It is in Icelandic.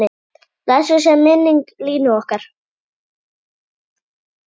Blessuð sé minning Línu okkar.